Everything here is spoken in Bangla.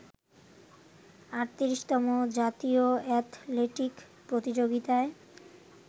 ৩৮তম জাতীয় অ্যাথলেটিক প্রতিযোগিতায়